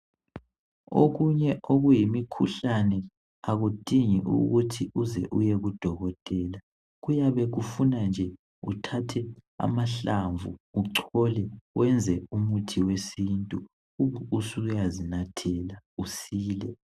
Okunye okuyimikhuhlane akudingi ukut hi uyeku dokotela kuyabe kufuna uthathe amahlamvu uchole uyenze umuthi wesintu ube ususiya zinathela